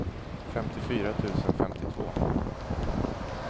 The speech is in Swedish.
femtiofyra tusen femtiotvå